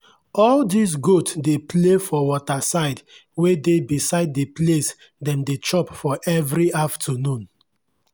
all dis goat dey play for waterside wey dey beside d place dem dey chop for everi afternoon